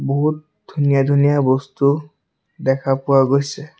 বহুত ধুনীয়া ধুনীয়া বস্তু দেখা পোৱা গৈছে।